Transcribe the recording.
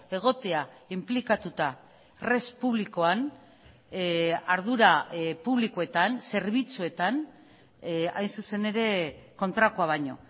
egotea inplikatuta res publikoan ardura publikoetan zerbitzuetan hain zuzen ere kontrakoa baino